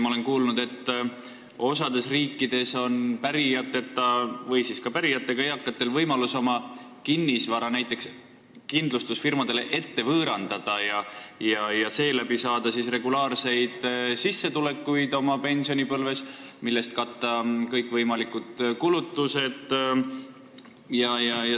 Ma olen kuulnud, et osas riikides on pärijateta või ka pärijatega eakatel võimalus on oma kinnisvara näiteks kindlustusfirmadele ette võõrandada ja seeläbi saada pensionipõlves regulaarset sissetulekut, millest saab katta kõikvõimalikud kulutused.